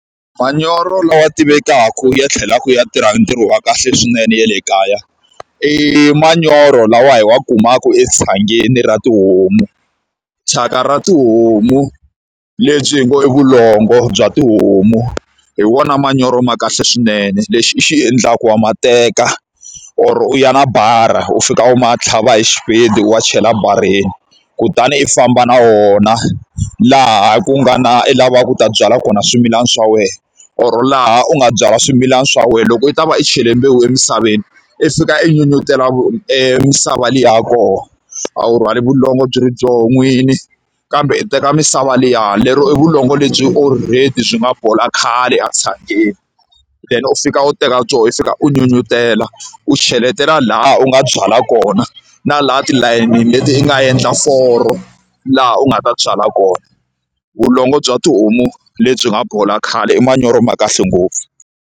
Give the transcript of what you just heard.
Manyoro lawa tivekaka ya tlhelaka ya tirha ntirho wa kahle swinene ya le kaya, i manyoro lawa yi wa kumaka etshangeni ra tihomu. Thyaka ra tihomu lebyi hi ngo i vulongo bya tihomu, hi wona manyoro ma kahle swinene. Lexi xi endlaka wa ma teka or u ya na bara, u fika u ma tlhava hi xipedi u ya chela ebareni. Kutani i famba na wona laha ku nga na i lavaka ku ta byala kona swimilana swa wena or laha u nga byala swimilana swa wena. Loko u ta va i chele mbewu emisaveni, i fika i nyunyutela e misava liya ya kona. A wu rhwali vulongo byi ri byona n'wini kambe u teka misava liya, lero i vulongo lebyi already byi nga bola khale etshangeni. Then u fika u teka byoho u fika u kutela u nyunyutela, u cheletela lahaya u nga byala kona na laha tilayinini leti u nga endla foro laha u nga ta byala kona. Vulongo bya tihomu lebyi nga bola khale i manyoro ma kahle ngopfu.